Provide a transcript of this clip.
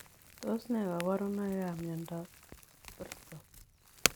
Tos nee kabarunoik ap Miondop Korton ?